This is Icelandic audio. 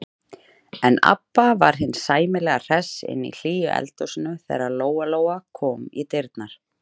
En Abba hin var sæmilega hress inni í hlýju eldhúsinu þegar Lóa-Lóa kom í dyrnar.